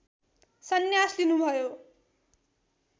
सन्यास लिनुभयो